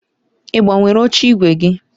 Ị gbanwere oche ígwè gị?